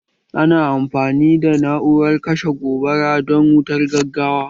Ana amfani da na'urar kashe gobara don wutar gaggawa